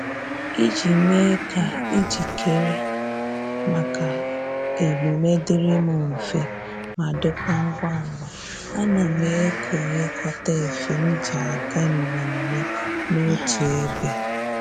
Iji mee ka ijikere maka emume dịrị m mfe ma dịkwa ngwa ngwa, ana m ekonyekọta efe m ji aga mmemme n'otu ebe